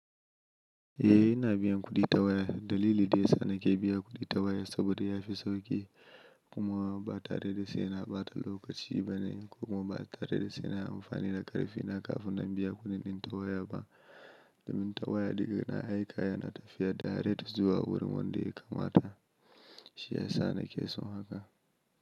Eh ina biyan kuɗi ta waya. Dalili da ya sa na ke biya kuɗi ta waya saboda ya fi sauƙi. Kuma ba tare da sai na ɓata lokaci bane kuma ba tare da sai na amfani da ƙarfe na kafin na biya kuɗin ta waya ba. Domin ta waya daga na aika yana tafiya da tare zuwa wurin wanda ya kamata. Shi ya sa na ke son haka.